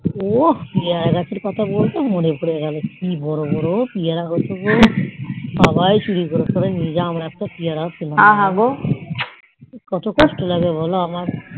ওহ পিয়েরে গাছের কথা বলতে মনে পড়লো কি বোরো বোরো পিয়ারা হতো গো সবাই চুরি করে করে নিয়ে যেত এত পিয়ারা গাছ কত কষ্ট লাগে বোলো